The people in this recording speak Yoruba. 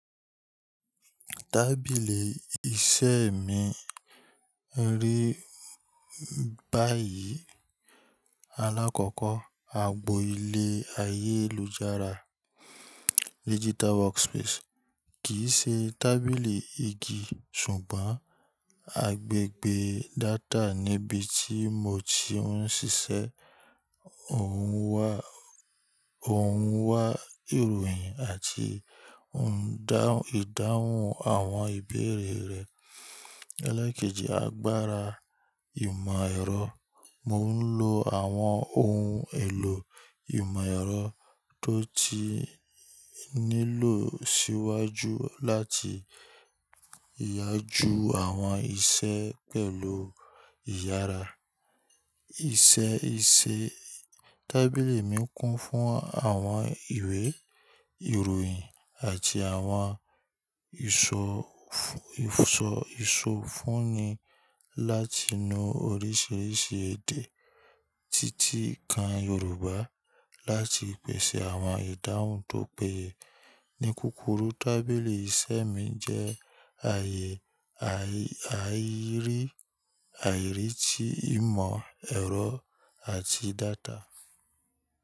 Tábìlì iṣẹ́ mi rí báyìí. Alákọ̀ọ́kọ́, agbo ilé ayélujára digital workspace kì í ṣe tábìlì igi ṣùgbọ́n agbègbè data níbi tí mo ti ń ṣiṣẹ́. Òun wá ìròyìn àti ìdáhùn àwọn ìbéèrè rẹ̀. Elékèjì, agbára ìmọ̀ ẹ̀rọ. Mo ń lo àwọn ohun èlò ìmọ̀ ẹ̀rọ tó ti nílò síwájú láti yá ju àwọn iṣẹ́ pẹ̀lú ìyára. Iṣẹ́ iṣẹ́ tábìlì mi kún fún àwọn ìwé, ìròyìn àti àwọn ìsọ̀fúnni láti nu oríṣiríṣi èdè títì kan Yorùbá láti pèsè àwọn ìdáhùn tó péye. Ní kúrúkù, tábìlì iṣẹ́ mi jẹ́ ààyè àìrí àìrí ti ìmọ̀ ẹ̀rọ àti data.